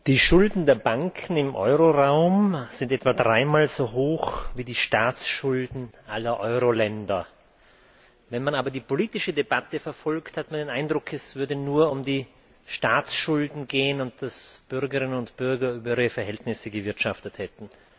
Frau Präsidentin! Die Schulden der Banken im Euroraum sind etwa dreimal so hoch wie die Staatsschulden aller Euroländer. Wenn man aber die politische Debatte verfolgt, hat man den Eindruck, als gehe es nur um die Staatsschulden gehen und dass Bürgerinnen und Bürger über ihre Verhältnisse gewirtschaftet hätten.